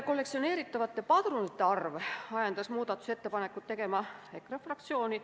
Kollektsioneeritavate padrunite arv ajendas muudatusettepanekut tegema EKRE fraktsiooni.